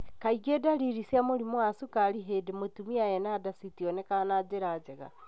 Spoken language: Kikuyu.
Kaingĩ dariri cia mũrimũ wa cukari hĩndĩ mũtumia ena nda citionekaga na njĩra njega.